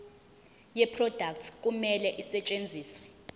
yeproduct kumele isetshenziswe